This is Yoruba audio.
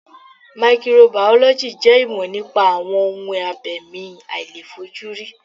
Maikiro bàọ́lọ́jì jẹ́ ìmọ̀ nípa àwọn ohun abẹ̀mí àìlèfojúrí.